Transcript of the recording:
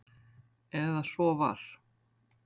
Eða svo var.